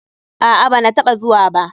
Aa, banataɓa zuwa ba.